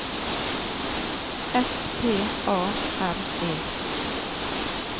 S P A R E